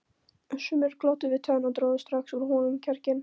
Sumir glottu við tönn og drógu strax úr honum kjarkinn.